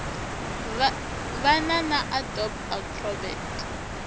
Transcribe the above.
va na na adobe acrobat